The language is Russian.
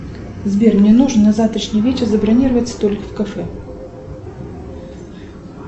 сбер мне нужно на завтрашний вечер забронировать столик в кафе